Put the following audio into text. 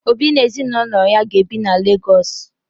Obi na ezinụlọ ya ga-ebi na Legọọsụ